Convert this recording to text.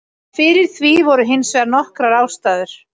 Fyrir því voru hins vegar nokkrar ástæður.